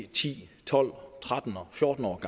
ti tolv tretten og fjorten år